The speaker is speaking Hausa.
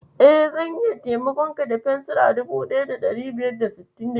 E, zan iya taimakonka da fensira 1566.